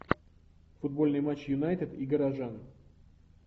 футбольный матч юнайтед и горожан